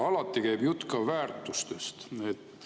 Alati käib jutt ka väärtustest.